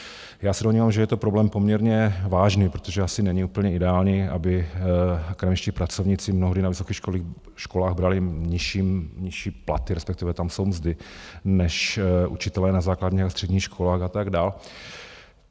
Já se domnívám, že je to problém poměrně vážný, protože asi není úplně ideální, aby akademičtí pracovníci mnohdy na vysokých školách brali nižší platy - respektive tam jsou mzdy - než učitelé na základních a středních školách a tak dál.